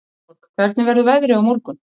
Vilborg, hvernig verður veðrið á morgun?